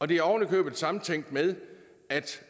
det er oven i købet samtænkt med